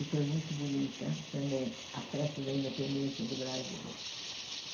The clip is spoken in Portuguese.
E foi muito bonita também a festa da independência do Brasil.